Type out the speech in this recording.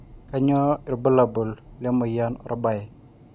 kanyio irbulabul le moyian orbae